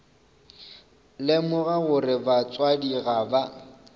lemoga gore batswadi ga ba